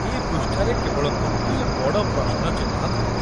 ଏ ପୃଷ୍ଠାରେ କେବଳ ଗୋଟିଏ ବଡ଼ ପ୍ରଶ୍ନ ଚିହ୍ନ ଥିଲା।